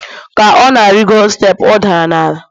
ka ọ na-arịgoro steepụ ọ dara n'ala